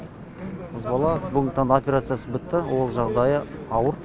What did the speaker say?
қыз бала бүгінгі таңда операциясы бітті ол жағдайы ауыр